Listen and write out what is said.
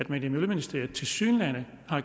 man i miljøministeriet tilsyneladende